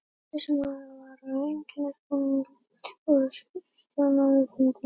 Sýslumaður var í einkennisbúningi og stjórnaði fundi.